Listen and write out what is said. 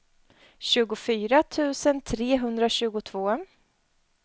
tjugofyra tusen trehundratjugotvå